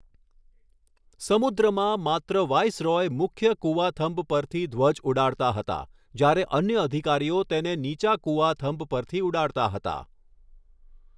સમુદ્રમાં, માત્ર વાઈસરોય મુખ્ય કૂવાથંભ પરથી ધ્વજ ઉડાડતા હતા, જ્યારે અન્ય અધિકારીઓ તેને નીચા કૂવાથંભ પરથી ઉડાડતા હતા.